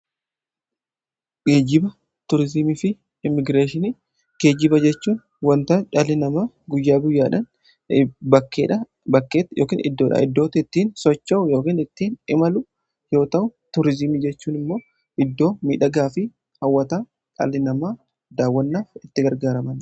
Geejjiba tuuriizimii fi immigireeshinii; geejjiba jechuun wanta dhalli namaa guyyaa guyyaadhan bakkee ykn iddoodhaa iddootti ittiin socho'u ykn ittiin imalu yoo ta'u ,tuuriizimii jechuun immoo iddoo miidhagaafi hawwataa dhalli namaa daawwannaaf itti gargaaramaniidha.